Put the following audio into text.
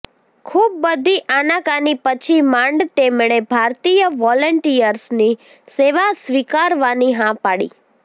ખૂબ બધી આનાકાની પછી માંડ તેમણે ભારતીય વોલેન્ટિયર્સની સેવા સ્વીકારવાની હા પાડી